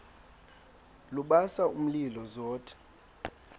lubasa umlilo zothe